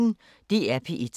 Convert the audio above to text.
DR P1